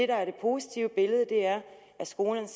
der er det positive billede er at skolerne